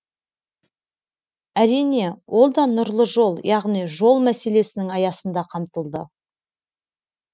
әрине ол да нұрлы жол яғни жол мәселесінің аясында қамтылды